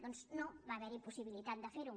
doncs no va haver·hi possibilitat de fer·ho